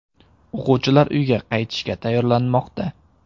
O‘quvchilar uyga qaytishga tayyorlanmoqda.